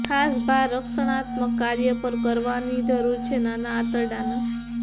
ખાસ ભાર રક્ષણાત્મક કાર્ય પર કરવામાં કરવાની જરૂર છે નાના આંતરડાના